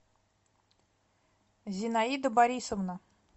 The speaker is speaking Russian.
зинаида борисовна